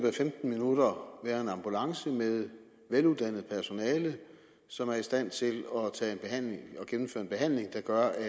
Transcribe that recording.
af femten minutter være en ambulance med veluddannet personale som er i stand til at gennemføre en behandling der gør at